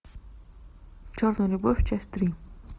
черная любовь часть три